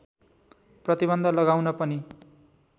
प्रतिबन्ध लगाउन पनि